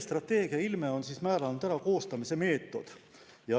Strateegia ilme on määranud ära selle koostamise meetod.